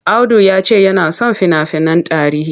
Audu ya ce yana son fina-finan tarihi.